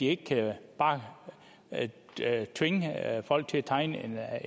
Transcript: ikke bare kan tvinge folk til at tegne